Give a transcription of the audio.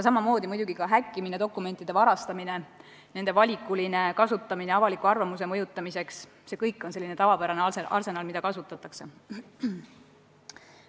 Samamoodi muidugi ka häkkimine, dokumentide varastamine, nende valikuline kasutamine avaliku arvamuse mõjutamiseks – see kõik on tavapärane arsenal, mida kasutatakse.